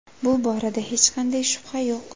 Bu borada hech qanday shubha yo‘q.